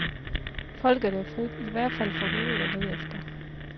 Folket er frit, i hvert fald fra hovedet og nedefter.